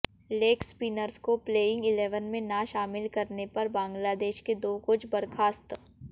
leg spinners को playing eleven में ना शामिल करने पर बांग्लादेश के दो कोच बर्खास्त